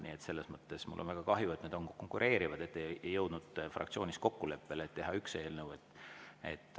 Nii et selles mõttes mul on väga kahju, et nende konkureerivate puhul ei jõutud fraktsioonis kokkuleppele teha üks eelnõu.